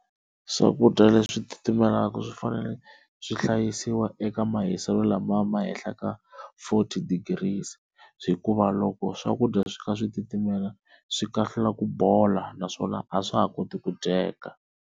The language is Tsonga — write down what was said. Swakudya leswi timelaka swi fanele swi hlayisiwa eka mahiselo lama ma hehla ka forth degrees hikuva loko swakudya swi kha swi timela swi kahlula ku bola naswona a swa ha koti ku dyeka.